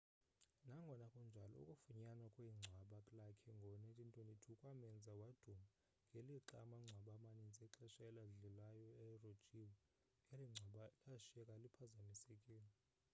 nangona kunjalo ukufunyanwa kwengcwaba lakhe ngo-1922 kwamenza waduma ngelixa amangcwaba amaninzi exesha eladlilayo erojiwe eli ngcwaba lashiyeka liphazamisekile